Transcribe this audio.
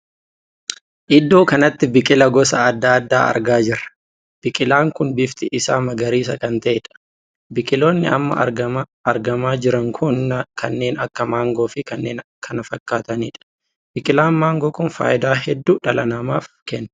Iddoo kanatti biqilaa gosa addaa addaa argaa jirra. biqilaan kun bifti isaa magariisa kan taheedha. biqiloonni amma argamaa jiran kun kanneen akka mangoo fi kanneen kana fakkaatanidha. biqilaan mangoo kun faayidaa hedduu dhala namaaf kenna.